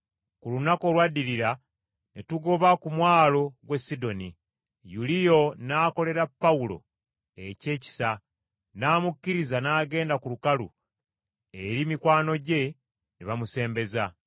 Ku lunaku olwaddirira ne tugoba ku mwalo gw’e Sidoni, Yuliyo n’akolera Pawulo eky’ekisa n’amukkiriza n’agenda ku lukalu eri mikwano gye ne bamusembeza.